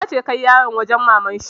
Nace kai yaran wajen maman shi!